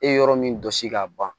E yɔrɔ min dɔsi ka ban